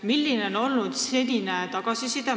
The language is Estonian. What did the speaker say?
Milline on olnud senine tagasiside?